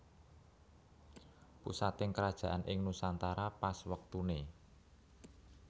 Pusating kerajaan ing nusantara pas wektuné